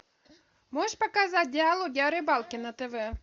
можешь показать диалоги о рыбалке на тв